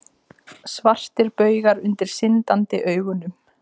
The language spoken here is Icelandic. Svartir baugar undir syndandi augunum.